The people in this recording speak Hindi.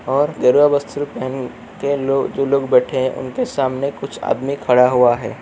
और गेरुआ वस्त्र पहन के लो जो लोग बेठे है उनके सामने कुछ आदमी खड़ा हुआ है।